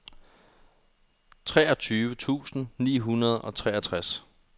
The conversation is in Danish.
treogtyve tusind ni hundrede og toogtres